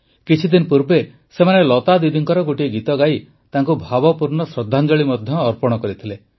କିଛିଦିନ ପୂର୍ବେ ସେମାନେ ଲତା ଦିଦିଙ୍କର ଗୋଟିଏ ଗୀତ ଗାଇ ତାଙ୍କୁ ଭାବପୂର୍ଣ୍ଣ ଶ୍ରଦ୍ଧାଞ୍ଜଳି ମଧ୍ୟ ଅର୍ପଣ କରିଥିଲେ